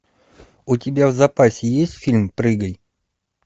у тебя в запасе есть фильм прыгай